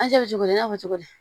cogo di i n'a fɔ cogo di